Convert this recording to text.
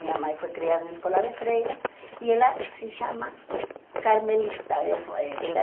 Minha mãe foi criada na escola de Freira e ela se chama Carmelita. Eu eh ela